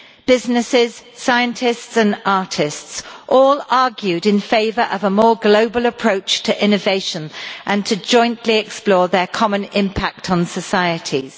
Businesses, scientists and artists all argued in favour of a more global approach to innovation and to jointly explore their common impact on societies.